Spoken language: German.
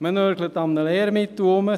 Man nörgelt an einem Lehrmittel rum.